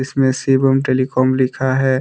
इसमें शिवम टेलीकॉम लिखा है।